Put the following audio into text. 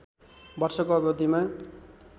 वर्षको अवधिमा